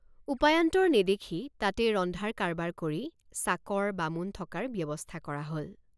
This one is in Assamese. উপায়ান্তৰ নেদেখি তাতেই ৰন্ধাৰ কাৰবাৰ কৰি চাকৰ বামুণ থকাৰ ব্যৱস্থা কৰা হল।